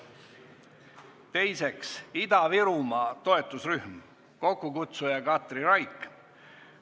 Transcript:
Teiseks, Ida-Virumaa toetusrühm, kokkukutsuja on Katri Raik.